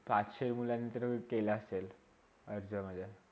पाचश्या मुलांनीतरी दिला असेल अर्ज मध्ये